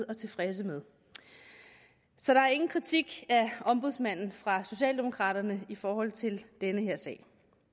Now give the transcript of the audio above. og tilfredse med så der er ingen kritik af ombudsmanden fra socialdemokraternes i forhold til den her sag